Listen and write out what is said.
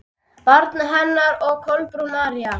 Barn hennar er Kolbrún María.